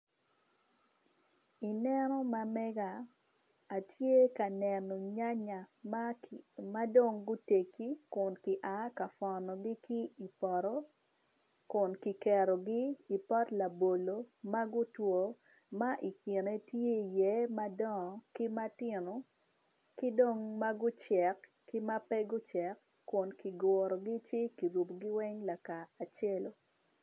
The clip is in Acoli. Ineno ma mega atye ka neno nyanya ma dong gutegi kun kia ka pwonogi ki i poto Kun kiketogi i pot labolo ma gutwo ma ikene tye iye madongo ki matino ki dong ma gucek ki ma pe oceko Kun kigurogi ci kirubogi weng lakacelo.